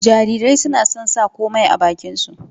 Jarirai suna son sa komai a bakin su